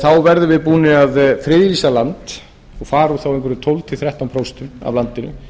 þá verðum við búin að friðlýsa land og fara þá einhver tólf til þrettán prósent af landinu